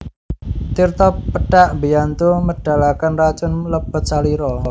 Tirta pethak mbiyantu medhalaken racun lebet salira